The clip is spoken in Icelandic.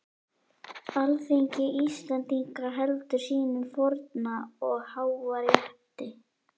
Alþingi Íslendinga heldur sínum forna og háa rétti!